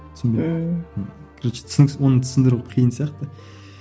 короче түсініксіз оны түсіндіру қиын сияқты